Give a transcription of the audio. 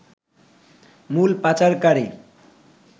মূল পাচারকারী